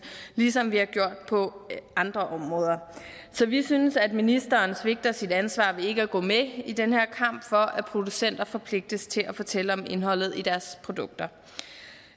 ligesom vi har gjort på andre områder så vi synes at ministeren svigter sit ansvar ved ikke at gå med i den her kamp for at producenter forpligtes til at fortælle om indholdet i deres produkter